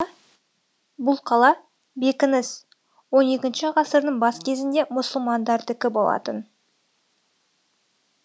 бұл қала бекініс он екінші ғасырдың бас кезінде мұсылмандардікі болатын